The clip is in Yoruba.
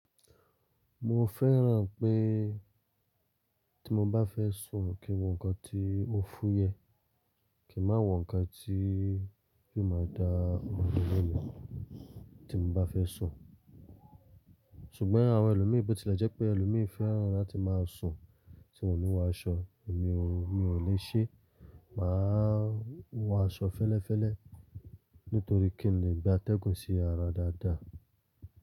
Mo fẹ́ràn pé tí mo bá fẹ́ sùn kí n wọ ǹkan tí ó fuyẹ, kí n má wọ ǹkan tí yóò máa dá ọmọ mi lónìí tí mo bá fẹ́ sùn. Ṣùgbọ́n àwọn ẹlòmíì bó tilẹ̀ jẹ́ pé ẹlòmíì fẹ́ràn láti máa sùn tí wọ́n ò ní wọ aṣọ èmi ò, mi ò lè ṣe. Máa wọ aṣọ fẹ́lẹ́fẹ́lẹ́ nítorí kí n lè gba atẹ́gùn sí ara dáadáa.